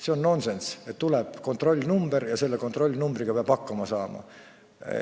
See on nonsenss, et tuleb mingi kontrollnumber ja selle kontrollnumbriga peab hakkama saama.